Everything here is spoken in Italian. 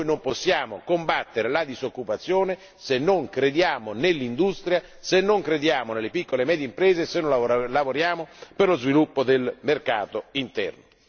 Non possiamo combattere la disoccupazione se non crediamo nell'industria, se non crediamo nelle piccole e medie imprese, se non lavoriamo per lo sviluppo del mercato interno.